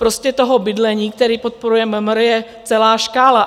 Prostě toho bydlení, které podporuje MMR, je celá škála.